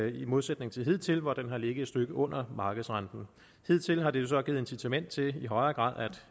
i modsætning til hidtil hvor den har ligget et stykke under markedsrenten hidtil har det jo så givet incitament til i højere grad at